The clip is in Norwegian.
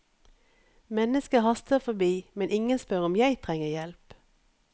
Mennesker haster forbi, men ingen spør om jeg trenger hjelp.